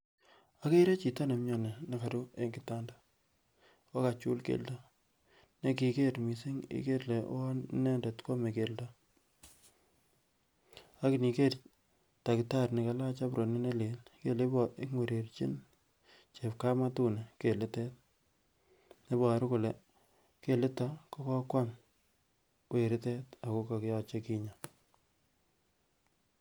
Okere chito nemioni koru en kitanda akokachul keldo nendiker mising ikere ilee uwon inendet kwome keldo, akiniker takitari nekalach ambronit nelel ikere ile ingwererchin chepkamatuni kelitet, iboru kole keliton kokokwam weritet akoyoche kinya.